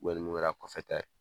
ni mun kɛra kɔfɛta ye